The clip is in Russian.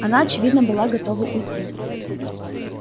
она очевидно была готова уйти